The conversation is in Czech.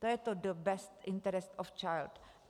To je to the best interest of child.